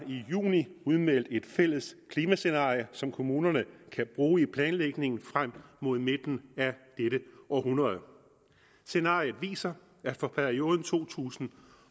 i juni udmeldt et fælles klimascenarie som kommunerne kan bruge i planlægningen frem mod midten af dette århundrede scenariet viser at for perioden to tusind